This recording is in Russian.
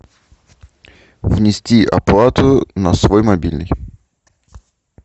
внести оплату на свой мобильный